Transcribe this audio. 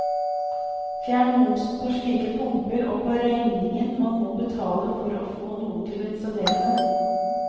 Fjern momsen på slike pumper og på regningen man må betale for å få noen til å installere dem.